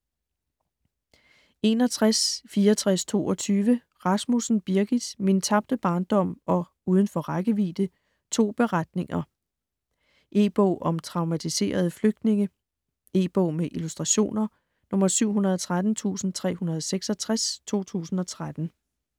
61.6422 Rasmussen, Birgit: "Min tabte barndom" og "Udenfor rækkevidde": to beretninger. En bog om traumatiserede flygtninge. E-bog med illustrationer 713366 2013.